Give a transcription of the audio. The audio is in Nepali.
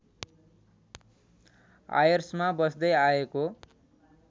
आयर्समा बस्दै आएको